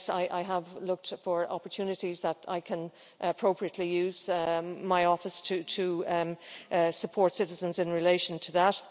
Yes, I have looked for opportunities that I can appropriately use in my office to support citizens in relation to that.